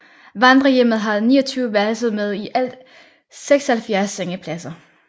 Vandrerhjemmet har 29 værelser med i alt 76 sengepladser